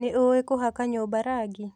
Nĩũĩ kũhaka nyũmba rangi?